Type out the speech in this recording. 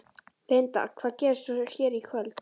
Linda: Hvað gerist svo hér í kvöld?